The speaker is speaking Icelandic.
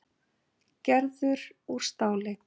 Gerður úr stáli.